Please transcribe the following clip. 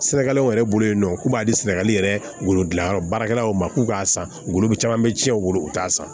Sɛnɛkɛlaw yɛrɛ bolo yen nɔ k'u b'a di sɛnɛgali yɛrɛ wolodilanyɔrɔ baarakɛlaw ma k'u k'a san u bolo caman bɛ tiɲɛ u bolo u t'a san